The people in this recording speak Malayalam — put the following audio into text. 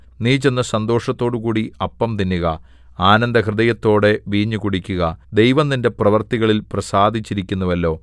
നീ ചെന്ന് സന്തോഷത്തോടുകൂടി അപ്പം തിന്നുക ആനന്ദഹൃദയത്തോടെ വീഞ്ഞു കുടിക്കുക ദൈവം നിന്റെ പ്രവൃത്തികളിൽ പ്രസാദിച്ചിരിക്കുന്നുവല്ലോ